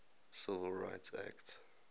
civil rights act